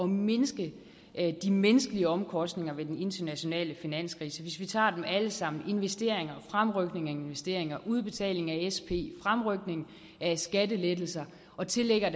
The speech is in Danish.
mindske de menneskelige omkostninger ved den internationale finanskrise hvis vi tager dem alle sammen er investeringer fremrykninger af investeringer udbetaling af sp fremrykning af skattelettelser og tillægger